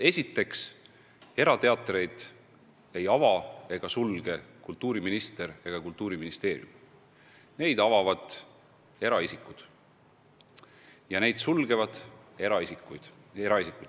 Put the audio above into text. Esiteks, erateatreid ei ava ega sulge kultuuriminister ega Kultuuriministeerium, neid avavad eraisikud ja neid sulgevad eraisikud.